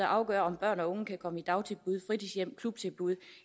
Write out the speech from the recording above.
afgør om børn og unge kan komme i dagtilbud fritidshjem klubtilbud